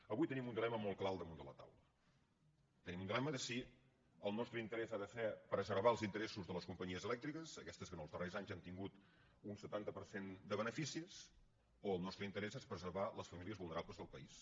avui tenim un dilema molt clar al damunt de la taula tenim un dilema de si el nostre interès ha de ser preservar els interessos de les companyies elèctriques aquestes que els darrers anys han tingut un setanta per cent de beneficis o el nostre interès és preservar les famílies vulnerables del país